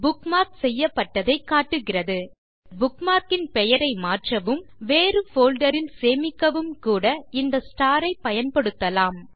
bookmark செய்யப்பட்டதைக் காட்டுகிறது நீங்கள் புக்மார்க் ன் பெயரை மாற்றவும் வேறு போல்டர் ல் சேமிக்கவும் கூட இந்த ஸ்டார் ஐப் பயன்படுத்தலாம்